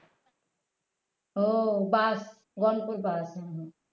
ও bus Ganpur bus হম হম